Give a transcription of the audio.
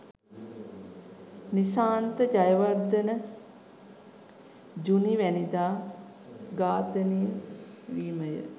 නිශාන්ත ජයවර්ධනජුනිවැනිදා ඝාතනය වීමය